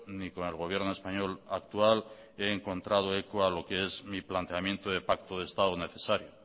ni con el gobierno español actual he encontrado eco a lo que es mi planteamiento de pacto de estado necesario